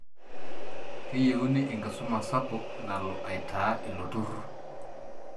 Keyeuni enkisuma sapuk nalo aitaa ilo turur.